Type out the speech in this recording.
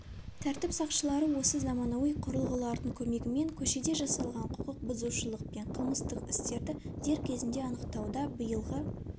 тәртіп сақшылары осы заманауи құрылғылардың көмегімен көшеде жасалған құқықбұзушылық пен қылмыстық істерді дер кезінде анықтауда биылғы